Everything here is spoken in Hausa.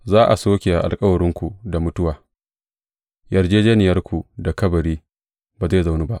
Za a soke alkawarinku da mutuwa; yarjejjeniyarku da kabari ba zai zaunu ba.